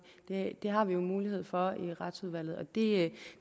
det har vi jo mulighed for i retsudvalget det